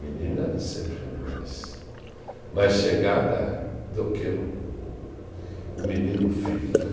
Menina sempre é mais mais chegada do que o menino, o filho né.